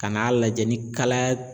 Ka n'a lajɛ ni kalaya